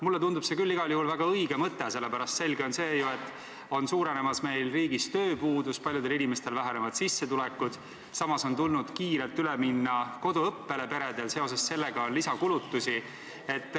Mulle tundub see küll igal juhul väga õige mõte, sest selge on see, et meie riigis on tööpuudus suurenemas, paljudel inimestel vähenevad sissetulekud, samas on peredel tulnud kiirelt üle minna koduõppele, millega on kaasnenud lisakulutusi.